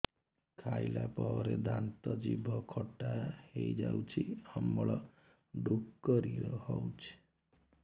ଖାଇଲା ପରେ ଦାନ୍ତ ଜିଭ ଖଟା ହେଇଯାଉଛି ଅମ୍ଳ ଡ଼ୁକରି ହଉଛି